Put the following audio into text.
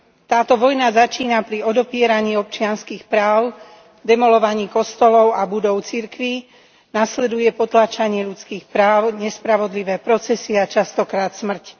Táto vojna začína pri odopieraní občianskych práv, demolovaní kostolov a budov cirkví, nasleduje potláčanie ľudských práv, nespravodlivé procesy a častokrát smrť.